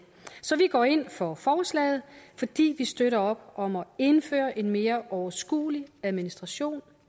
går ind for forslaget fordi vi støtter op om at indføre en mere overskuelig administration